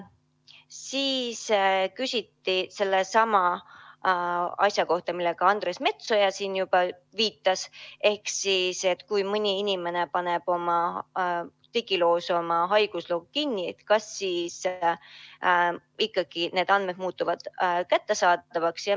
Veel küsiti sellesama asja kohta, millele Andres Metsoja siin juba viitas: kas siis, kui mõni inimene paneb oma digiloos oma haigusloo kinni, muutuvad need andmed ikkagi kättesaadavaks.